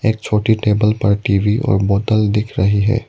छोटी टेबल पर टी_वी और बोतल दिख रहे हैं।